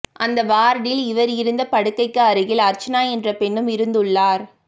அந்த வார்ட்டில் இவர் இருந்த படுக்கைக்கு அருகில் அர்ச்சனா என்ற பெண்ணும் இருந்துள்ளார்